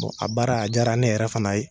Bon a baara a diyara ne yɛrɛ fana ye.